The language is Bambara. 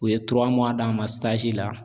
U ye d'a ma la